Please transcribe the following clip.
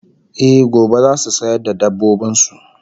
Eh, gobe zasu sayar da dabbobin su